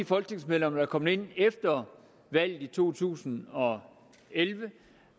folketingsmedlemmer der er kommet ind efter valget i to tusind og elleve